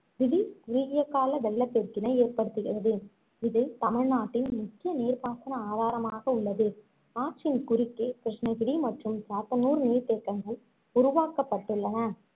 தீடிர் குறுகியகால வெள்ளப்பெருக்கினை ஏற்படுத்துகிறது இது தமிழ்நாட்டின் முக்கிய நீர்ப்பாசன ஆதாரமாக உள்ளது ஆற்றின் குறுக்கே கிருஷ்ணகிரி மற்றும் சாத்தனூர் நீர்த்தேக்கங்கள் உருவாக்கப்பட்டுள்ளன